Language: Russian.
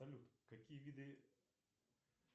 салют какие виды